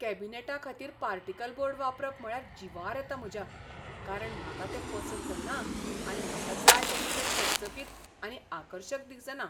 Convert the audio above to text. कॅबिनेटांखातीर particle board वापरप म्हळ्यार जिवार येता म्हज्या. कारण म्हाका तें पसंत ना आनी म्हाका जाय तशें तें चकचकीत आनी आकर्शक दिसना.